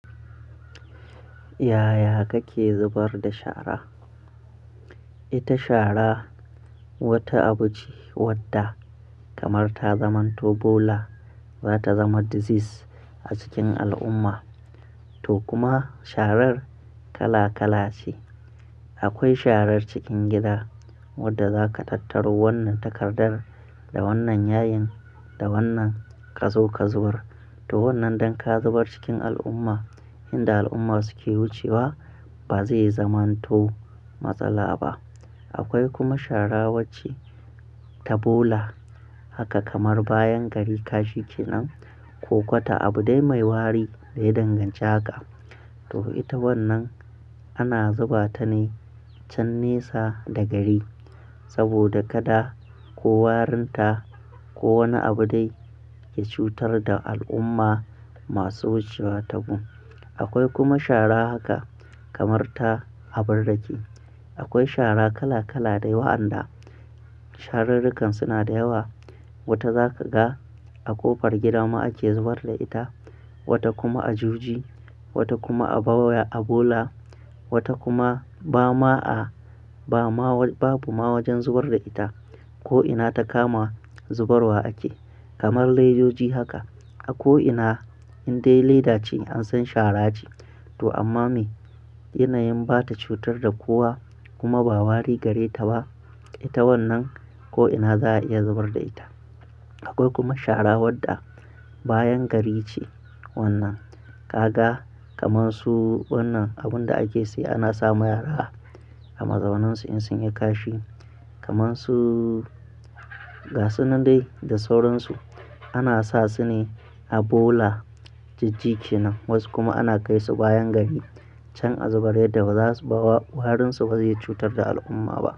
Yaya kake zubar da shara? Ita shara wata abu ce wadda kamar ta zamanto bola za ta zama disease a cikin al'umma. To kuma sharar kala kala ce. Akwai sharar cikin gida wadda za ka tattaro wannan takardar da wannan yayin, da wannan ka zo ka zubar. To wannan dan ka zubar cikin al'umma inda al'umma suke wucewa ba zai zamanto matsala ba. Akwai kuma shara wacce ta bola haka kamar bayan gari ka shike nan ko kwata abu dai mai wari da yadanganci haka. To ita wannan ana zuba ta ne chan nesa da gari saboda kada ko warinta ko wani abu dai ya cutar da al'umma masu wucewa tagun. Akwai kuma shara haka kamar ta abar rake. Akwai shara kala kala dai wa an da sharrurrukan suna da yawa. Wata za ka ga a ƙofar gida ma ake zubar da ita, wata kuma a juji, wata kuma a bawa a bola, wata kuma ba ma babu ma wajen zubar da ita ko'ina ta kama zubarwa ake. Kamar lejjoji haka a ko'ina inde leda ce an san shara ce to amma me? Yana yin bata cutar da kowa kuma ba wari gare ta ba, ita wannan ko'ina za a iya zubar da ita. Akwai kuma shara wadda bayan gari ce wannan. Ka ga kamar su wannan abun da ake saye ana sa ma yara a mazaunansu in sun yi kashi kamar su gasunnan dai da sauransu ana sa su ne a bola jijji kenan. Wasu kuma ana kai su bayan gari can a zubar yadda ba za su ba warinsu ba zai cutar da al'umma ba.